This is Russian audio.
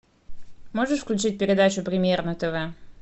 можешь включить передачу премьер на тв